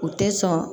U tɛ sɔn